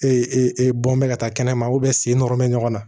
bɔn bɛ ka taa kɛnɛma sen nɔrɔ bɛ ɲɔgɔn na